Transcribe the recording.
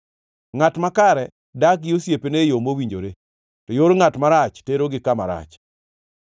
Ngʼat makare dak gi osiepene e yo mowinjore, to yor ngʼat marach terogi kama rach.